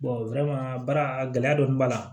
baara a gɛlɛya dɔɔni b'a la